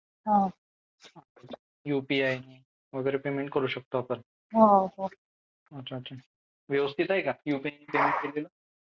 UPI नि वगैरे payment करू शकतो आपण. अच्छा अच्छा व्यवस्थित आहे का यू पी इ नि पेमेंट केलेलं